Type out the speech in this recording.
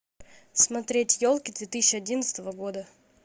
смотреть елки две тысячи одиннадцатого года